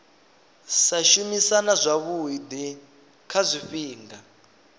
sa shumisana zwavhui kha zwifhinga